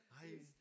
Nej